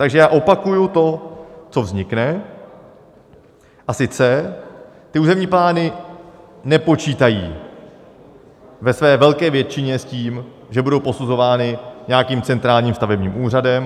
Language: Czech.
Takže já opakuji to, co vznikne, a sice: ty územní plány nepočítají ve své velké většině s tím, že budou posuzovány nějakým centrálním stavebním úřadem.